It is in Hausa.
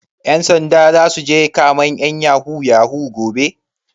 Ƴan sanda zasu je kamen ƴan yahoo yahoo gobe?